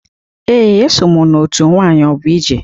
Ee, eso m na-otu nwayọbụije.